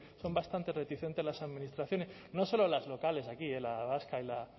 son bastante reticentes las administraciones no solo las locales aquí la vasca